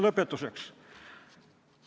Lõpetuseks.